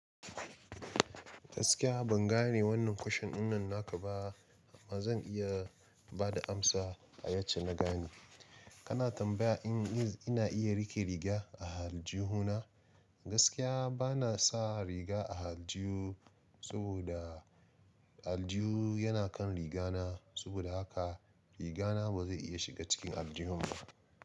Gaskiya ban gane wannan kwashan ɗinnan naka ba, ba zan iya bada amsa a yacce na gane. Kana tambaya in ina iya riƙe riga a aljihu na? Gaskiya bana sa riga a aljihu saboda aljihu yana kan riga na, saboda haka riga na ba zai iya shiga cikin aljihun ba.